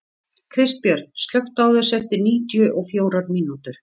Kristbjörn, slökktu á þessu eftir níutíu og fjórar mínútur.